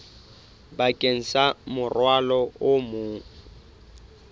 bakeng sa morwalo o mong